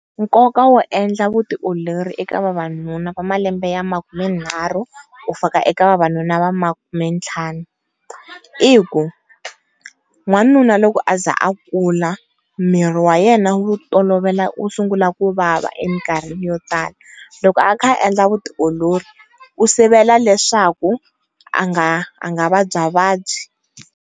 Nkoka wo endla vutiolori eka vavanuna va malembe ya makumenharhu ku fika eka vavanuna va makumentlhanu, i ku n'wanuna loko a za a kula miri wa yena wu tolovela wu sungula kuvava emikarhini yo tala loko a kha a endla vutiolori u sivela leswaku a nga a nga vabya vabyi.